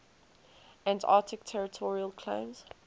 antarctic territorial claims